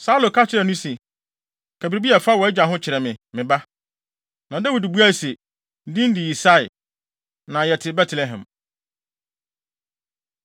Saulo ka kyerɛɛ no se, “Ka biribi a ɛfa wʼagya ho kyerɛ me, me ba.” Na Dawid buae se, “Ne din de Yisai, na yɛte Betlehem.”